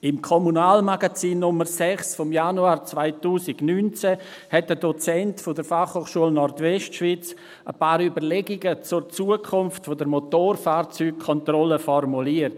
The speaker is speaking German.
Im Kommunalmagazin Nr. 6 vom Januar 2019 hat ein Dozent der Fachhochschule Nordwestschweiz (FHNW) ein paar Überlegungen zur Zukunft der Motorfahrzeugkontrolle formuliert.